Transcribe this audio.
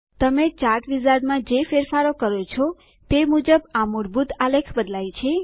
તમે ચાર્ટ Wizardમાં જે ફેરફારો કરો છો તે મુજબ આ મૂળભૂત આલેખ બદલાય છે